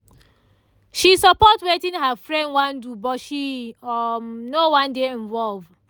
she support wetin her friend wan do but she um no wan dey involve